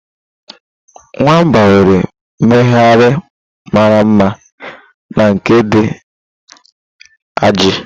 Nwamba nwere mmegharị mara mma na nke dị ajaị.